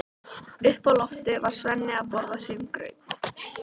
Heimir: Finnst þér umferðin vera að sprengja sig?